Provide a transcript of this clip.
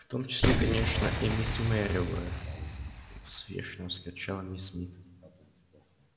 в том числе конечно и миссис мерриуэзер возмущённо вскричала миссис мид